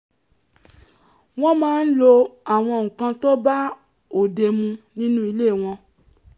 wọ́n máa ń lo àwọn nǹkan tó bá òde mu nínú ilé wọn